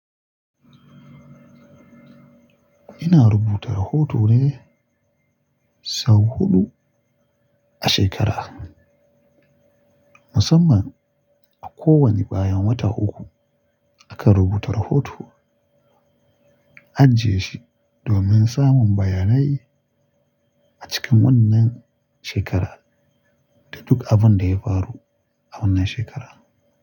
Ina rubuta rahoto ne sau huɗu a shekara. Musamman a kowane bayan wata uku akan rubuta rahoto, ajiye shi domin samun bayanai a cikin wannan shekara da duk abin da ya faru a wannan shekara.